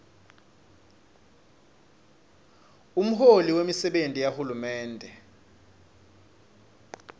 lomholi wemisebenti yahulumende